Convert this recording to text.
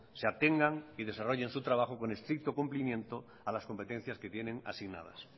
se atengan y desarrollen su trabajo con estricto cumplimiento a las competencias que tienen asignadas